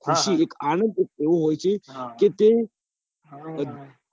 એવુ હોય છે કે તે